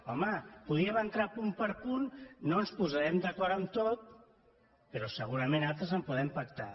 home podíem entrar punt per punt no ens posarem d’acord en tot però segurament altres els podem pactar